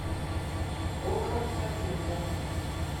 окко картинка